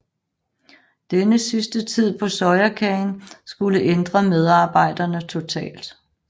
Denne sidste tid på Sojakagen skulle ændre medarbejderne totalt